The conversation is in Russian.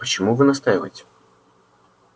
почему вы настаиваете